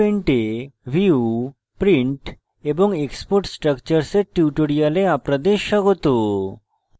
gchempaint এ view print এবং export structures এর tutorial আপনাদের স্বাগত